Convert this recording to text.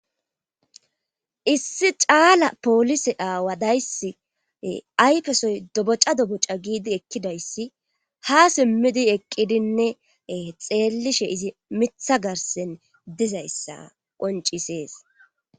Issi caala poolise aawadayssi ayfesoy doboca doboca giidi ekkidayssi ha simmidi eqqidinne xeellishe izi mitha garsen dizayssa qoncisees.